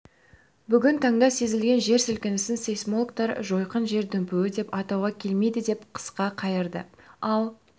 бүгін таңда сезілген жер сілкінісін сейсмологтар жойқын жер дүмпуі деп атауға келмейді деп қысқа қайырды ал